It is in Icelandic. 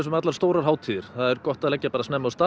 allar stórar hátíðir þá er gott að leggja snemma af stað